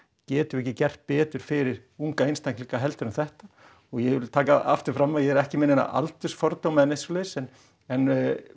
getum við ekki gert betur fyrir unga einstaklinga heldur en þetta og ég vil taka það aftur fram að ég er ekki með neina aldursfordóma eða neitt svoleiðis en en